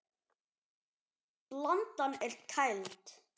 Blandan er kæld.